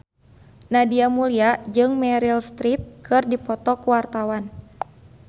Nadia Mulya jeung Meryl Streep keur dipoto ku wartawan